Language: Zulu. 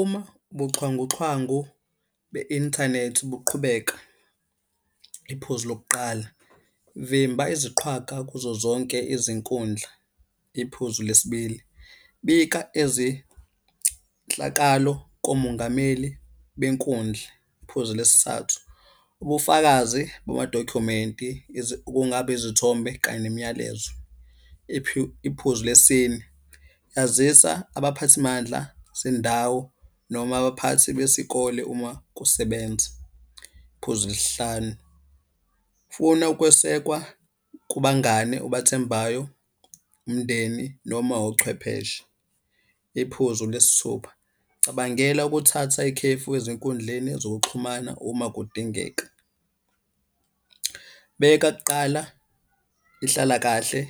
Uma ubuxhwanguxhwangu be-inthanethi buqhubeka, iphuzi lokuqala. Vimba iziqhwaga kuzo zonke izinkundla. Iphuzu le sibili, bika ezinhlakalo komungameli benkundla. Iphuzu lesi thathu, ubufakazi bamadokhumenti kungaba izithombe kanye nemiyalezo. Iphuzu le sine, yazisa abaphathimandla sendawo noma abaphathi besikole uma kusebenza. Iphuzu lesi hlanu, funa ukwesekwa kubangane obathembayo, umndeni noma ochwepheshe. Iphuzu lesi thupha, cabangela ukuthatha ikhefu ezinkundleni zokuxhumana uma kudingeka. Beka kuqala inhlalakahle,